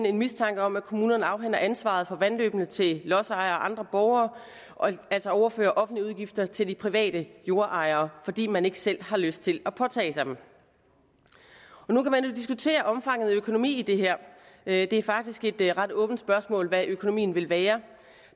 en mistanke om at kommunerne afhænder ansvaret for vandløbene til lodsejere og andre borgere og altså overfører offentlige udgifter til de private jordejere fordi man ikke selv har lyst til at påtage sig dem nu kan man jo diskutere omfanget af økonomien i det her det er faktisk et et ret åbent spørgsmål hvad økonomien vil være